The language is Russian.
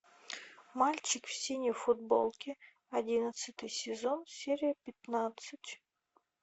мальчик в синей футболке одиннадцатый сезон серия пятнадцать